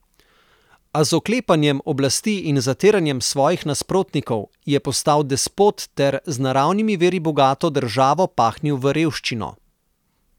A z oklepanjem oblasti in zatiranjem svojih nasprotnikov je postal despot ter z naravnimi viri bogato državo pahnil v revščino.